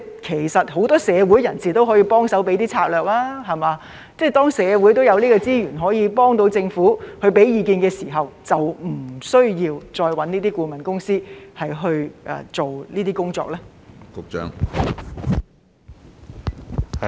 其實很多社會人士都可以幫忙提供策略，當社會已有資源可以幫助政府、並提供意見的時候，是否就不需要再委聘顧問公司去做這些工作呢？